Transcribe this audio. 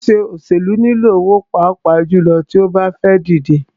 Ṣíṣe òṣèlú nilò owó pàápàá jùlọ tí o bá fẹ́ díje.